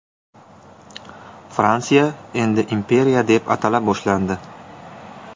Fransiya endi imperiya deb atala boshlandi.